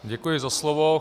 Děkuji za slovo.